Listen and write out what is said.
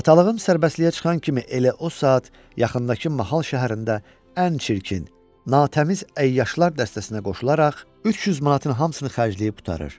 Atalığım sərbəstliyə çıxan kimi elə o saat yaxındakı mahal şəhərində ən çirkin, natəmiz əyyaşlar dəstəsinə qoşularaq 300 manatın hamısını xərcləyib qurtarır.